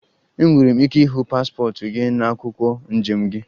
Enwere m ike ịhụ paspọtụ gị na akwụkwọ njem gị?